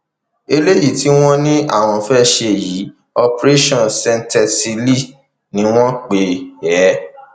eléyìí tí wọn ní àwọn fẹẹ ṣe yìí operation cnsectestelle ni wọn pè é